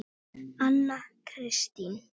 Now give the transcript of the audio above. Anna Kristín